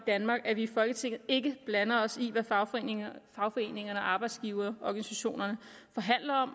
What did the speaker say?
at vi i folketinget ikke blander os i hvad fagforeningerne fagforeningerne og arbejdsgiverorganisationerne forhandler om og